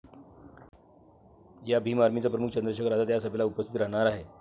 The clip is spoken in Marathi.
या भीम आर्मीचा प्रमुख चंद्रशेखर आझाद या सभेला उपस्थित राहणार आहे.